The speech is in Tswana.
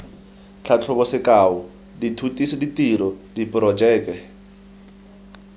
tlhatlhobo sekao dithutiso ditiro diporojeke